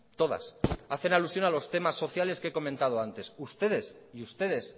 todas hacen alusión a los temas sociales que he comentado antes ustedes y ustedes